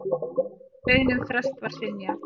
Beiðni um frest var synjað.